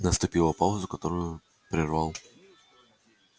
наступила пауза которую прервал